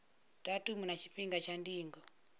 datumu na tshifhinga tsha ndingo